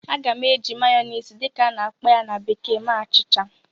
Aga m eji "mayonnaise" dị ka a na-akpọ ya na bekee mee achịcha